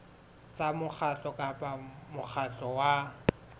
tsa mokgatlo kapa mokgatlo wa